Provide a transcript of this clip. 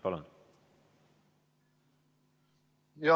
Palun!